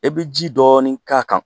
E bɛ ji dɔɔnin k'a kan